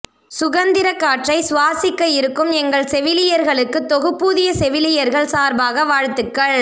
சுகந்திர காற்றை சுவாசிக்க இருக்கும் எங்கள் செவிலியர்களுக்கு தொகுப்பூதிய செவிலியர்கள் சார்பாக வாழ்த்துக்கள்